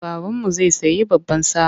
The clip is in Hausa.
Babanmu zai sayi baban sa.